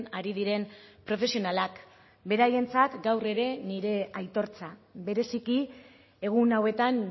ari diren profesionalak beraientzat gaur ere nire aitortza bereziki egun hauetan